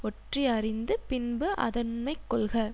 ஒற்றியறிந்து பின்பு அதனுண்மை கொள்க